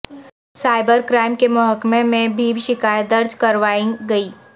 cyber crime کے محکمے میں بھی شکایت درج کروائی گئی